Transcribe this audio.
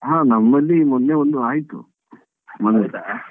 ಹಾ ನಮ್ಮಲ್ಲಿ ಮೊನ್ನೆ ಒಂದು ಆಯ್ತು ಮದುವೆ.